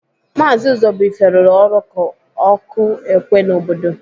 Maazi Ụzọbuife rụrụ ọrụ ka ọkụ ékwé n'obodo.